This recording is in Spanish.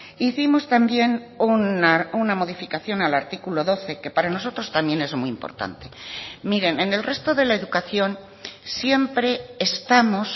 hicimos también una modificación al artículo doce que para nosotros también es muy importante miren en el resto de la educación siempre estamos